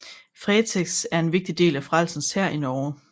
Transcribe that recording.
Fretex er en vigtig del af Frelsens Hær i Norge